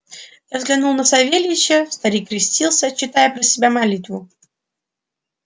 я взглянул на савельича старик крестился читая про себя молитву